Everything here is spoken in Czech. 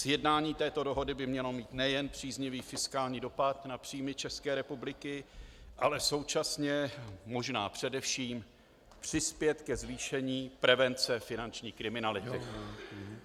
Sjednání této dohody by mělo mít nejen příznivý fiskální dopad na příjmy České republiky, ale současně, možná především, přispět ke zvýšení prevence finanční kriminality.